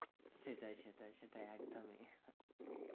সেটাই সেটাই সেটাই, একদমই